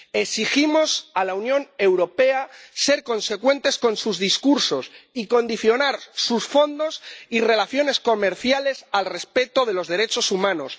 Exigimos a la Unión Europea ser consecuente con sus discursos y condicionar sus fondos y relaciones comerciales al respeto de los derechos humanos.